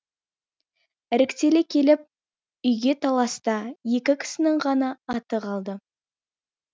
іріктеле келіп үйге таласта екі кісінің ғана аты қалды